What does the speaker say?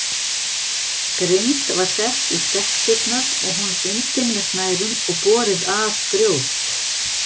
Grind var sett í stekkdyrnar og hún bundin með snærum og borið að grjót.